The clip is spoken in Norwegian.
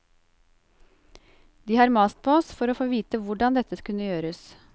De har mast på oss for å få vite hvordan dette kunne gjøres.